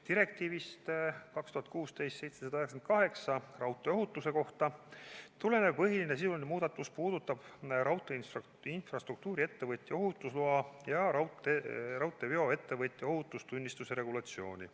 Direktiivist 2016/798, raudteeohutuse kohta, tulenev põhiline sisuline muudatus puudutab raudteeinfrastruktuuriettevõtja ohutusloa ja raudteeveoettevõtja ohutustunnistuse regulatsiooni.